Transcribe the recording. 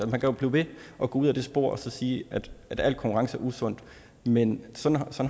man kan blive ved at gå ud ad det spor og sige at al konkurrence er usundt men sådan